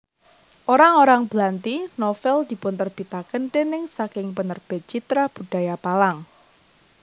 Orang orang Blanti novel dipunterbitaken déning saking Penerbit Citra Budaya Palang